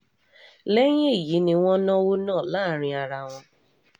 lẹ́yìn èyí ni wọ́n náwó náà náà láàrin ara wọn